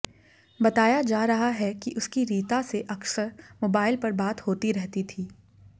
बताया जा रहा है कि उसकी रीता से अक्सर मोबाइल पर बात होती रहती थीं